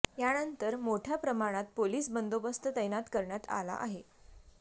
यानंतर मोठ्या प्रमाणात पोलीस बंदोबस्त तैनात करण्यात आला आहे